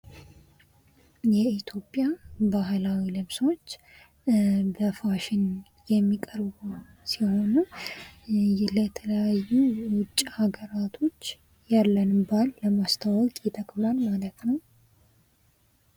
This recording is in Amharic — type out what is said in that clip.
የኢትዮጵያ ባህላዊ ልብሶች በፋሽን የሚቀርቡ ሲሆኑ ለተለያዩ ውጭ ሀገራቶች ያለንን ባህል ለማስተዋወቅ ይጠቅማል ማለት ነው።